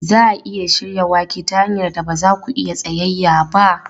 Za a iya shirya wake ta hanyar da ba za ku iya tsayayya ba.